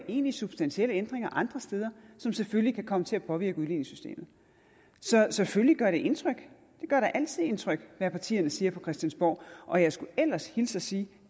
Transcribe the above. egentlige substantielle ændringer andre steder som selvfølgelig kan komme til at påvirke udligningssystemet så selvfølgelig gør det indtryk det gør da altid indtryk hvad partierne siger på christiansborg og jeg skulle ellers hilse og sige